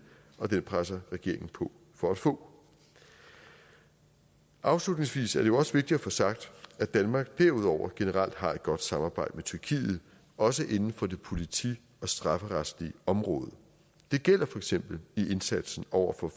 og den presser regeringen på for at få afslutningsvis er det jo også vigtigt at få sagt at danmark derudover generelt har et godt samarbejde med tyrkiet også inden for det politimæssige og strafferetslige område det gælder for eksempel i indsatsen over for